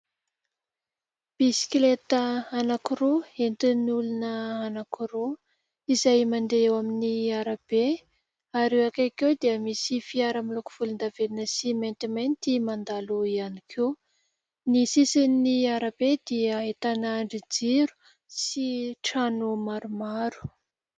Bisikileta anankiroa entin'ny olona anankiroa izay mandeha eo amin'ny arabe, ary eo akaiky eo dia misy fiara miloko volondavenona sy maintimainty mandalo ihany koa, ny sisin'ny arabe dia ahitana andrin-jiro sy trano maromaro.